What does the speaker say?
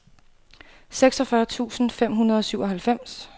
seksogfyrre tusind fem hundrede og syvoghalvfems